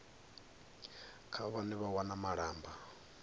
kha vhane vha wana malamba